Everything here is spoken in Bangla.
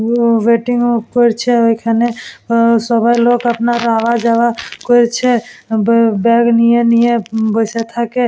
ওয়েটিং করছে ঐখানে সবাই লোক আওয়া যাওয়া করছে ব্যাগ নিয়ে নিয়ে বসে থাকে।